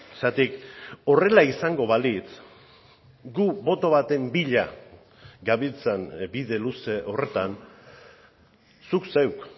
zergatik horrela izango balitz gu boto baten bila gabiltzan bide luze horretan zuk zeuk